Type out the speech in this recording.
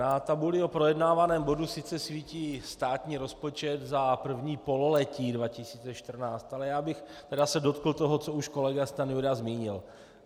Na tabuli o projednávaném bodu sice svítí státní rozpočet za první pololetí 2014, ale já bych se tedy dotkl toho, co už kolega Stanjura zmínil.